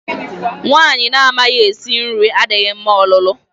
Nwaanyị na-amaghi esi nri adịghị mma ọlụlụ.